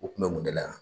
U kun bɛ mun de la yan